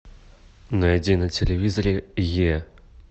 найди на телевизоре е